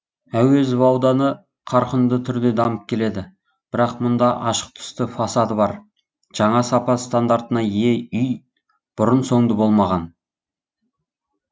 әуезов ауданы қарқынды түрде дамып келеді бірақ мұнда ашық түсті фасады бар жаңа сапа стандартына ие үй бұрын соңды болмаған